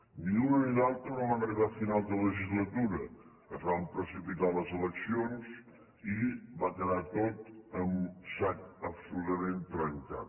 ni una ni l’altra no van arribar a final de legislatura es van precipitar les eleccions i va quedar tot en sac absolutament trencat